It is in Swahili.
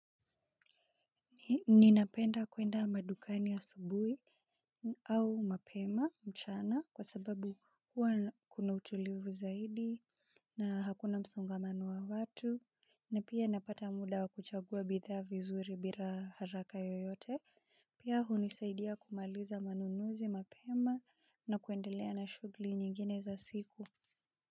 Ninapenda kwenda madukani asubui au mapema mchana kwa sababu huwa kuna utulivu zaidi na hakuna msongamano wa watu na pia napata muda wa kuchagua bidhaa vizuri bila haraka yoyote. Pia hunisaidia kumaliza manunuzi mapema na kuendelea na shughuli nyingine za siku.